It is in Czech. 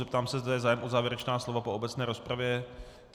Zeptám se, zda je zájem o závěrečná slova po obecné rozpravě.